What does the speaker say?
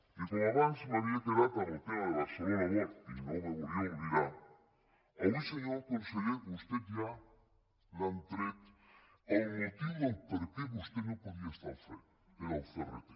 i com que abans m’havia quedat en el tema de barcelona world i no me’n volia oblidar avui senyor conseller a vostè ja li han tret el motiu del perquè vostè no podia estar hi al capdavant era el crt